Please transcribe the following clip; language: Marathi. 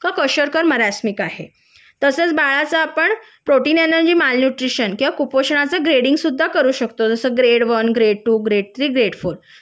का कोशार्कर मारसनिक आहे तसंच बाळच आपण प्रोटीन मालन्यूट्रिशन किंवा कुपोषणाचे ग्रेडिंग सुद्धा करू शकतो जस grade one grade two grade three grade four